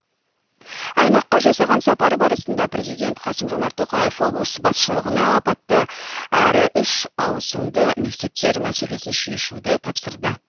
аймаққа жасаған сапары барысында президент қасым жомарт тоқаев облыс басшылығына апатты әрі үш ауысымды мектептер мәселесін шешуді тапсырды